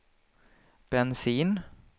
bensin